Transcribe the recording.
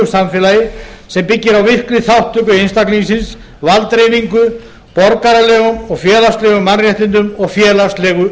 samfélagi sem byggir á virkri þátttöku einstaklingsins valddreifingu borgaralegum og félagslegum mannréttindum og félagslegu